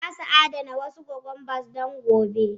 Za su adana wasu cucumbers don gobe.